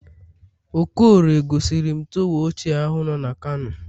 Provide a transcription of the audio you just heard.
okorie gosirim torwa ochie ahu nọ na kano